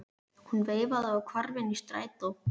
Hún veifaði og hvarf inn í strætó.